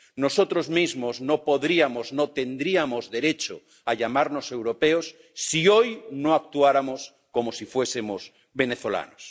Nosotros mismos no podríamos, no tendríamos derecho a llamarnos europeos si hoy no actuáramos como si fuésemos venezolanos.